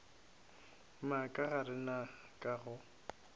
moka ga rena ka go